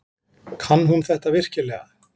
Kann hún þetta virkilega?